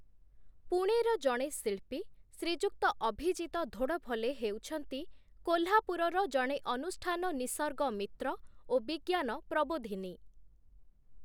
ପୁଣେର ଜଣେ ଶିଳ୍ପୀ ଶ୍ରୀଯୁକ୍ତ ଅଭିଜିତ ଧୋଡ଼ଫଲେ ହେଉଛନ୍ତି କୋଲ୍ହାପୁରର ଜଣେ ଅନୁଷ୍ଠାନ ନିସର୍ଗ ମିତ୍ର ଓ ବିଜ୍ଞାନ ପ୍ରବୋଧିନୀ ।